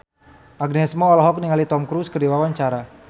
Agnes Mo olohok ningali Tom Cruise keur diwawancara